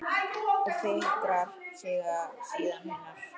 Og fikrar sig síðan innar?